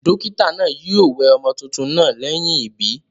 Dókítà naa yio we ọmọ tuntun naa léyìn ìbí